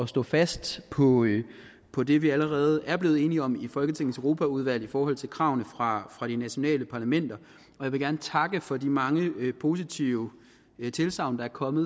stå fast på på det vi allerede er blevet enige om i folketingets europaudvalg i forhold til kravene fra fra de nationale parlamenter jeg vil gerne takke for de mange positive tilsagn der er kommet